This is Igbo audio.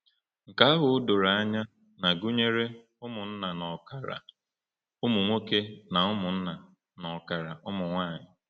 Nke ahụ o doro anya na gụnyere ụmụnna n’ọkara ụmụ nwoke na ụmụnna n’ọkara ụmụ nwanyị.